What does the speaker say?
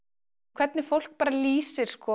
hvernig fólk lýsir